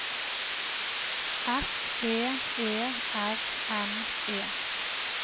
S E E R N E